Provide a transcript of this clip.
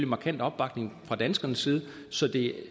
markant opbakning fra danskernes side så det